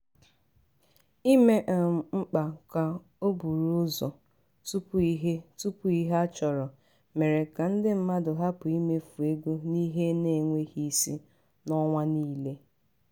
ime um mkpa ka o buru ụzọ tupu ihe tupu ihe a chọrọ mere ka ndị mmadụ hapụ imefu ego n'ihe na-enweghị isi n'ọnwa niile.